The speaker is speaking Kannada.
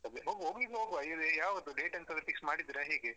ಅದೆ ಹೋಗುದಿದ್ರೆ ಹೋಗುವ ಯಾವುದು date ಎಂತಾದ್ರೂ fix ಮಾಡಿದ್ರ ಹೇಗೆ?